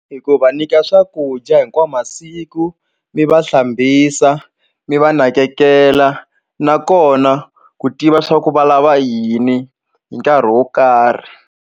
E ku va nyika swakudya hinkwawu masiku mi va hlambisa mi va nakekela nakona ku tiva swa ku va lava yini hi nkarhi wo karhi.